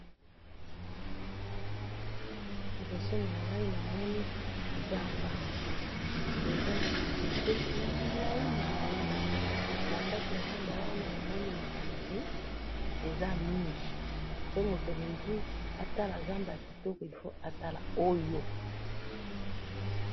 Liboso nangayi namoni zamba, eza nabanzete yamilayi milayi, nakati yazamba wana, namoni matiti, eza mingi, soki mutu alingi atala zamba kitoko il faut atala oyo